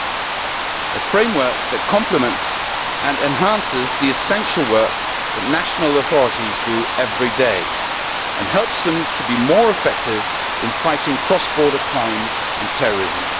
It is a framework that complements and enhances the essential work that national authorities do every day and helps them to be more effective in fighting cross border crime and terrorism.